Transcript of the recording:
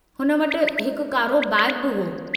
हुन वटि हिकु कारो बैगु बि हो।